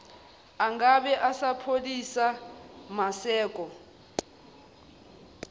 angabe esapholisa maseko